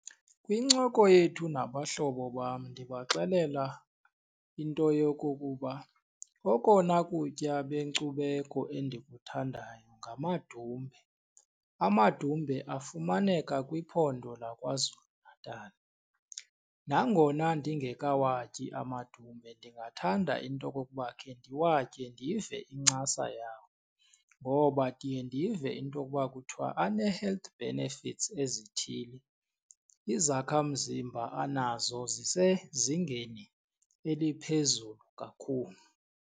Kwincoko yethu nabahlobo bam ndibaxelela into yokokuba okona kutya benkcubeko endikuthandayo ngamadumbe. Amadumbe afumaneka kwiphondo laKwaZulu-Natal. Nangona ndingekawatyi amadumbe ndingathanda into okokuba khe ndiwatye ndive incasa yawo ngoba ndiye ndive into okuba kuthiwa anee-health benefits ezithile, izakhamzimba anazo zisezingeni eliphezulu kakhulu.